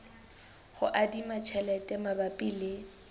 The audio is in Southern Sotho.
ho adima tjhelete mabapi le